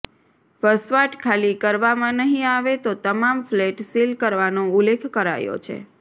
વસવાટ ખાલી કરવામાં નહીં આવે તો તમામ ફ્લેટ સીલ કરવાનો ઉલ્લેખ કરાયો છે